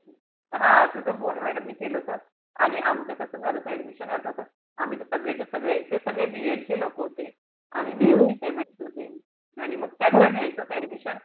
हा तुझं मोरे madam ने केलं होत. आणि आमचं कस झालं होत admission आठवतं? आम्ही त सगळेच्या सगळे B ED चे लोक होते. आणि मी एकटीच MSC होती. आणि मग त्यांना घ्यायचं होत admission.